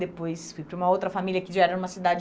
Depois fui para uma outra família que já era numa cidade